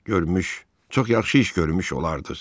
görmüş, çox yaxşı iş görmüş olardız.